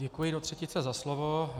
Děkuji do třetice za slovo.